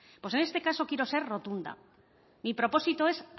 pues en este caso quiero ser rotunda mi propósito es